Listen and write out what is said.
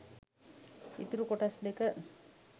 ඉතුරු කොටස් දෙක